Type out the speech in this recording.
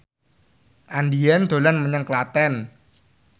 Andien dolan menyang Klaten